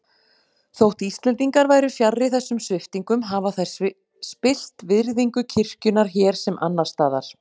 Þótt Íslendingar væru fjarri þessum sviptingum hafa þær spillt virðingu kirkjunnar hér sem annars staðar.